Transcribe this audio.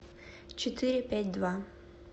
четыре пять два